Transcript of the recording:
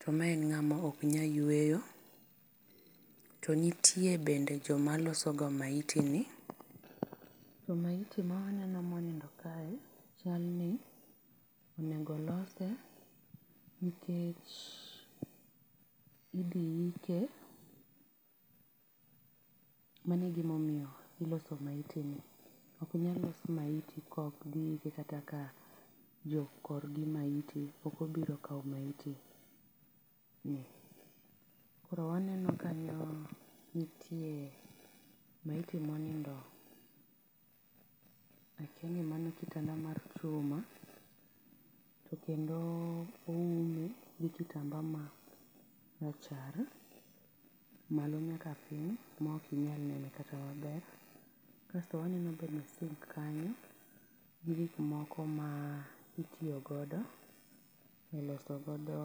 to ma en ng'ama ok nya yueyo. To nitie bende jo maloso ga maiti ni. To maiti ma neno mo nindo kar kae ni chal ni onego olos nikech chal idhi ike. Mano e gi ma omiyo iloso maiti no. Ok nyal los maiti ka kok dhi ike kata ka jo kor gi maiti pok obiro kawo maiti ni. Koro waneno kanyo nitie maiti monindo akia ni mano kitada mar chuma to kendo oume gi kitamba ma rachar malo nyaka piny ma ok inyal nene kata ma ber .Kasto aneno bende sink kanyo gi gik moko mi itiyo godo e loso godo.